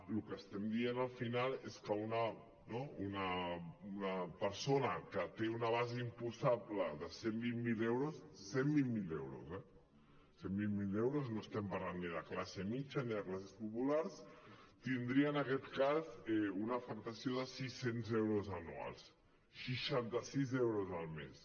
el que estem dient al final és que una persona no que té una base imposable de cent i vint miler euros cent i vint miler euros eh cent i vint miler euros no estem parlant ni de classe mitjana ni de classes populars tindria en aquest cas una afectació de sis cents euros anuals seixanta sis euros al mes